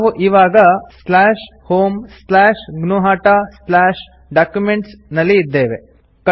ನಾವು ಇವಾಗ homegnuhataDocuments ನಲ್ಲಿ ಇದ್ದೇವೆ